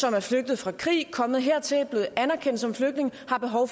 er flygtet fra krig og kommet hertil er blevet anerkendt som flygtninge